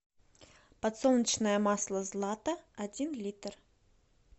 подсолнечное масло злато один литр